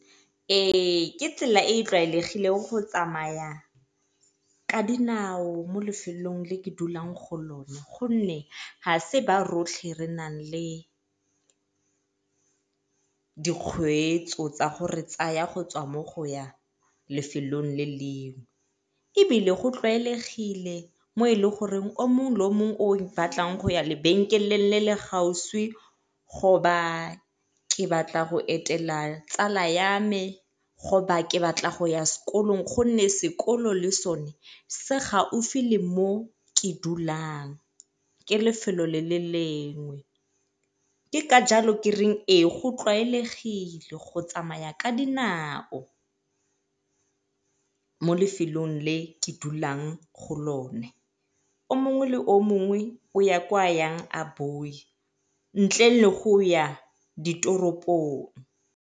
Ee, ke tsela e e tlwaelegileng go tsamaya ka dinao mo lefelong le ke dulang go lone gonne ga e se ba rotlhe re nang le dikgweetso tsa go re tsaya mo go ya lefelong le lengwe. Ebile go tlwaelegile mo e le goreng yo mongwe le yo mongwe o ipatlang go ya lebenkeleng le le , go ba ke batla go etela tsala ya me, go ba ke batla go ya sekolong gonne sekolo le sone se gaufi le mo ke dulang ke lefelo le le lengwe. Ke ka jalo ke reng ee go tlwaelegile go tsamaya ka dinao mo lefelong le ke dulang go lone yo mongwe le yo mongwe o ya kwa a yang a ntle le go ya ditoropong.